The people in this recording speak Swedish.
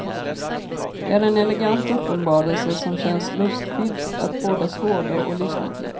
Det är en elegant uppenbarelse, som känns lustfyllt att både skåda och lyssna till.